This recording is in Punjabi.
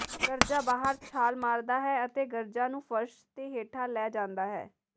ਗਰਜਾ ਬਾਹਰ ਛਾਲ ਮਾਰਦਾ ਹੈ ਅਤੇ ਗਰਜਾ ਨੂੰ ਫਰਸ਼ ਤੇ ਹੇਠਾਂ ਲੈ ਜਾਂਦਾ ਹੈ